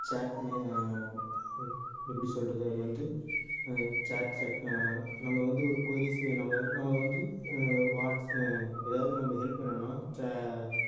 அஹ் எப்படி சொல்றது அது வந்து அஹ் அஹ் நம்ம வந்து ஒரு queries நம்ம நம்ம வந்து அஹ் அஹ் ஏதாவது நம்ம help வேணும்னா